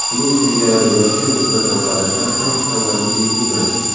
Shuning singari yoshga nisbatan qarashlar ham avvalgidek emas.